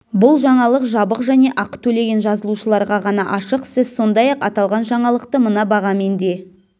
бұл жаңалық жабық және ақы төлеген жазылушыларға ғана ашық сіз сондай-ақ аталған жаңалықты мына бағамен де